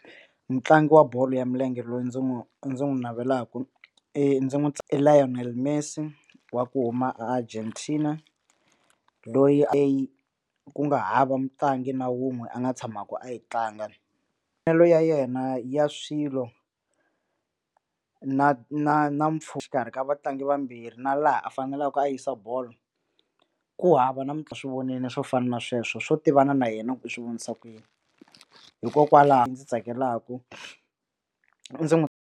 Mutlangi wa bolo ya milenge loyi ndzi n'wi ndzi n'wi navelaku i ndzi n'wi i Lionel Messi wa ku huma a Argentina loyi ku nga hava mutlangi na wun'we a nga tshamaka a yi tlanga bolo ya yena ya swilo na na na exikarhi ka vatlangi vambirhi na laha a faneleke ku a yisa bolo ku hava namuntlha swi vonile swo fana na sweswo swo tivana na yena ku u swi vonisa kuyini hikokwalaho ndzi tsakelaku ndzi n'wi.